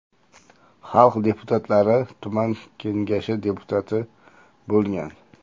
Xalq deputatlari tuman kengashi deputati bo‘lgan.